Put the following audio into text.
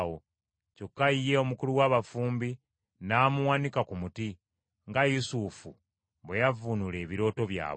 kyokka ye omukulu w’abafumbi n’amuwanika ku muti, nga Yusufu bwe yavvuunula ebirooto byabwe.